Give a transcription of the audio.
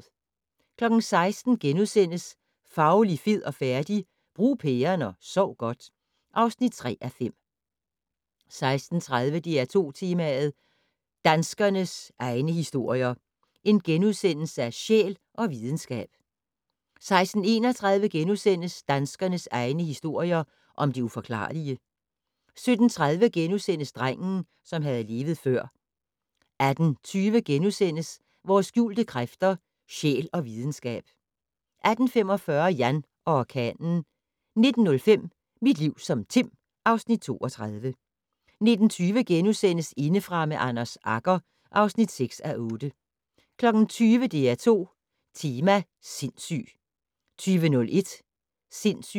16:00: Fauli, fed og færdig? - Brug pæren og sov godt (3:5)* 16:30: DR2 Tema: Danskernes egne historier - Sjæl og Videnskab * 16:31: Danskernes egne historier om det uforklarlige * 17:30: Drengen, som havde levet før * 18:20: Vores skjulte kræfter - sjæl og videnskab * 18:45: Jan og orkanen 19:05: Mit liv som Tim (Afs. 32) 19:20: Indefra med Anders Agger (6:8)* 20:00: DR2 Tema: Sindssyg 20:01: Sindssyg